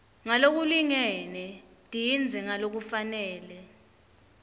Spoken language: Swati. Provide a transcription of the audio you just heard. ngalokulingene tindze ngalokufanele